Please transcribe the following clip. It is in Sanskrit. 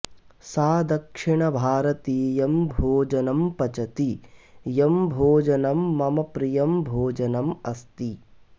सा दक्षिणभारतीयं भोजनं पचति यं भोजनं मम प्रियं भोजनम् अस्ति